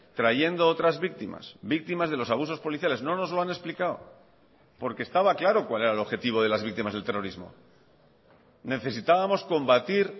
trayendo otras víctimas víctimas de los abusos policiales no nos lo han explicado porque estaba claro cuál era el objetivo de las víctimas del terrorismo necesitábamos combatir